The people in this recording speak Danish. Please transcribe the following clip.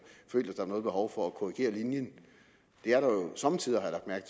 følt at der var noget behov for at korrigere linjen det er der jo somme tider